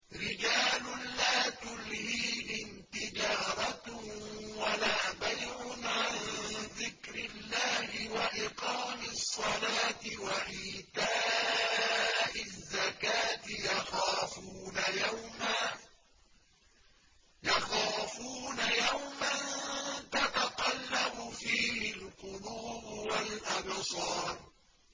رِجَالٌ لَّا تُلْهِيهِمْ تِجَارَةٌ وَلَا بَيْعٌ عَن ذِكْرِ اللَّهِ وَإِقَامِ الصَّلَاةِ وَإِيتَاءِ الزَّكَاةِ ۙ يَخَافُونَ يَوْمًا تَتَقَلَّبُ فِيهِ الْقُلُوبُ وَالْأَبْصَارُ